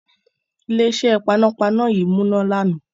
Ilé-iṣẹ́ panápaná yí múná lànà.